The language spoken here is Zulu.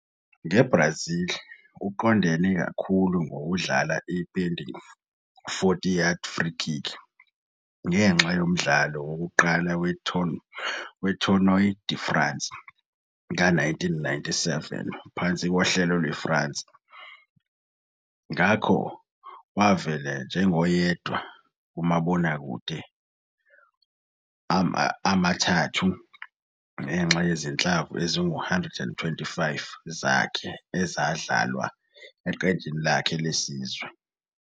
NgeBrazil, uqondene kakhulu ngokudlala i-bending 40-yard free kick ngenxa yomdlalo wokuqala we-Tournoi de France ka-1997 phansi kohlelo lweFrance. Ngakho, wavela njengeyodwa kumabonakude amathathu ngenxa yezinhlamvu ezingu-125 zakhe ezidlalwa eqenjini lakhe lesizwe.